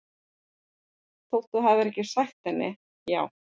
Þótt þú hafir ekki sagt henni- já